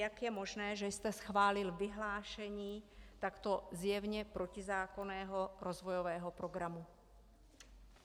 Jak je možné, že jste schválil vyhlášení takto zjevně protizákonného rozvojového programu?